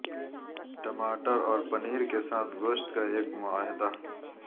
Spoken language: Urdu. ٹماٹر اور پنیر کے ساتھ گوشت کا ایک معاہدہ